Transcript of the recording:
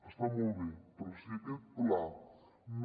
està molt bé però si aquest pla no